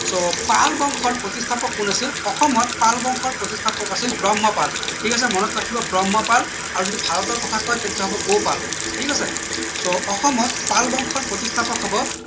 so Pal বংশৰ প্ৰতিস্থাপক কোন আছিল অসমত পাল বংশৰ প্ৰতিস্থাপক আছিল ব্ৰহ্মপাল ঠিক আছে মনত ৰাখিব ব্ৰহ্মপাল আৰু যদি ভাৰতৰ কথা কয় তেতিয়া হব গৌপাল ঠিক আছে so অসমত পাল বংশৰ প্ৰতিস্থাপক হব